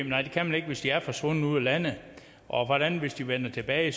nej det kan man ikke hvis de er forsvundet ud af landet og hvordan hvis de vender tilbage